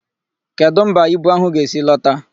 Kedụ mba ibu áhụ̀ ga-esi lọta?